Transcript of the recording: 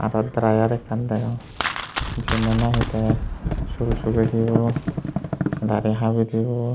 tat drayer ekkkan degong jinnoi nahi te sul sughe dibo dari habi dibo.